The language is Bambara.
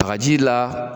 Bagaji la